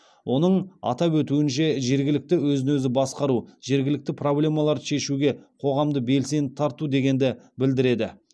оның атап өтуінше жергілікті өзін өзі басқару жергілікті проблемаларды шешуге қоғамды белсенді тарту дегенді білдіреді